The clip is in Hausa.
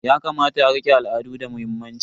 Yakamata a rike al'adu da muhimmanci.